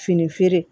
Fini feere